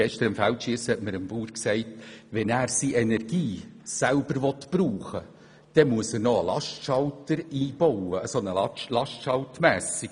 Gestern hat mir ein Bauer beim Feldschiessen gesagt, er müsse, wenn er seine Energie selber brauchen wolle, ein LastschaltMessgerät einbauen.